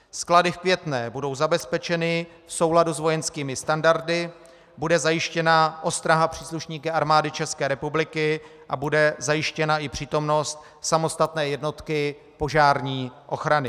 Sklady v Květné budou zabezpečeny v souladu s vojenskými standardy, bude zajištěna ostraha příslušníky Armády České republiky a bude zajištěna i přítomnost samostatné jednotky požární ochrany.